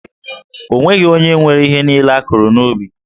O nweghị onye nwe ihe niile a kụrụ n'ubi.